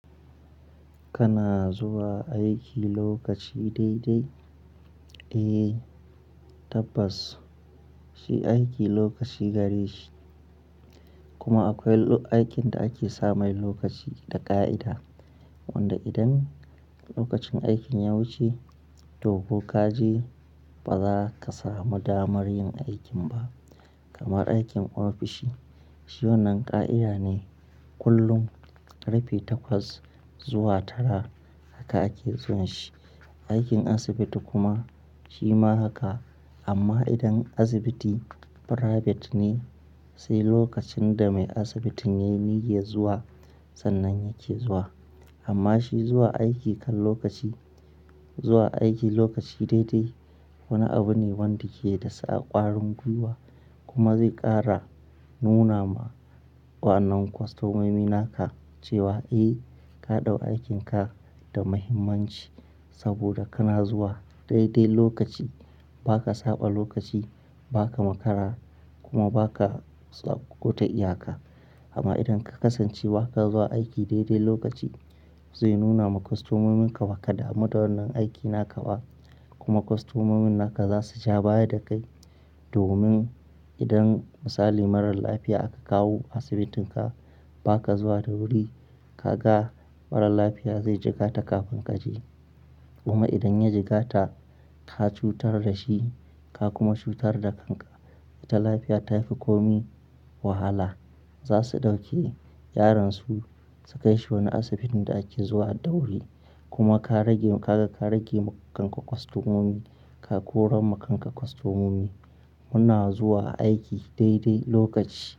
Kana zuwa aiki lokaci daidai? Eh tabbas shi aiki lokaci gareshi, kuma akwai aikin da ake sa mai lokaci da ƙa'ida wanda idan lokacin aikin ya wuce toh ko ka je ba za ka samu damar yin aikin ba. Kamar aikin ofishi shi wannan ƙa'ida ne kullum karfe takwas zuwa tara haka ake zuwan shi. Aikin asibiti kuma shi ma haka amma idan asibiti private ne sai lokacin da mai asibitin yayi niyyar zuwa sannan yake zuwa. Amma shi zuwa aiki kan lokaci, zuwa aiki lokaci daidai wani abu ne wanda ke da sa ƙwarin gwiwa kuma zai ƙara nuna ma wa'annan kwastomomi naka cewa eh ka ɗau aikin ka da muhimmanci saboda kana zuwa daidai lokaci. Ba ka saɓa lokaci, ba ka makara kuma ba ka tsako ta iyaka. Amma idan ka kasance ba ka zuwa aiki daidai lokaci zai nuna ma kwastomominka ba ka dama wannan aikin aka ba. Kuma kwastomomin naka zasu ja baya da kai domin idan misali marar lafiya aka kawo asibitinka ba ka zuwa da wuri ka ga marar lafiya zai jigata kafin ka je. Kuma idan ya jigata, ka cutar da shi ka kuma cutar da kanka. Ita lafiya ta fi komi wahala. Zasu ɗauke yaransu su kai shi wani asibitin da ake zuwa da wuri. Kuma ka rage, ka ga ka rage ma kanka kwastomomi, ka koran ma kanka kwastomomi. Muna zuwa aiki daidai lokaci.